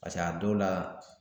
Paseke a dɔw la